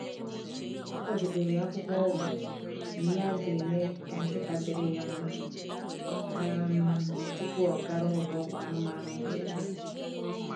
Ọ kwadebere akwụkwọ ọgwụ na ihe ga-eme ka nkịta dịrị ya mma um tupu ọ gara ụlọ ọgwụ anụmanụ mberede.